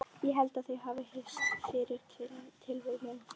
Ég held þau hafi hist fyrir tilviljun.